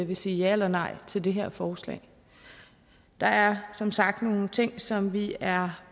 vil sige ja eller nej til det her forslag der er som sagt nogle ting som vi er